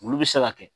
Olu bɛ se ka kɛ